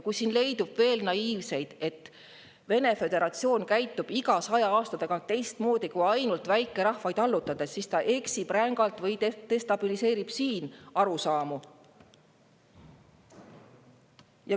Kui siin leidub veel naiivseid, et Vene föderatsioon käitub iga saja aasta tagant teistmoodi, kui ainult väikerahvaid allutades, siis ta eksib rängalt või destabiliseerib siin arusaamu.